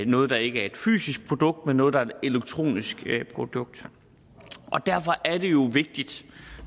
noget der ikke er et fysisk produkt men noget der er et elektronisk produkt derfor er det jo vigtigt